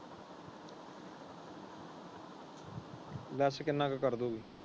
Less ਕਿੰਨਾ ਕੋ ਕਰਦੇ ਹੈ?